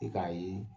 I k'a ye